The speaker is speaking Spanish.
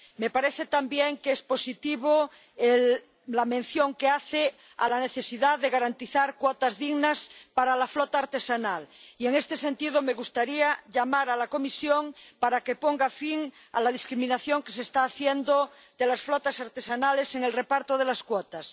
Me parece también que es positiva la mención que hace a la necesidad de garantizar cuotas dignas para la flota artesanal y, en este sentido, me gustaría hacer un llamamiento a la Comisión para que ponga fin a la discriminación que se está haciendo de las flotas artesanales en el reparto de las cuotas.